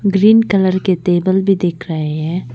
Green colour के table भी दिख रहे हैं।